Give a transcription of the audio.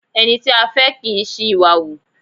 Ẹni tí a fẹ́ kì í ṣí ìwà hù.